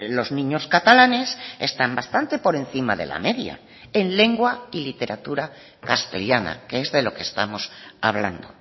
los niños catalanes están bastante por encima de la media en lengua y literatura castellana que es de lo que estamos hablando